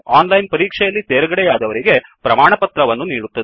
ಓನ್ಲೈನನ್ ಪರೀಕ್ಷೆ ಯಲ್ಲಿ ತೇರ್ಗಡೆಯಾದವರಿಗೆ ಪ್ರಮಾಣವನ್ನು ನೀಡುತ್ತದೆ